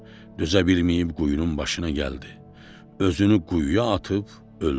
Dözə bilməyib quyunun başına gəldi, özünü quyuya atıb öldü.